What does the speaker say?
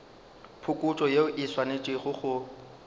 phokotšo yeo e swanetše go